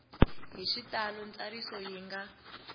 hi xitalo ntsariso yi nga